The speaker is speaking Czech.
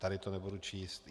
Tady to nebudu číst.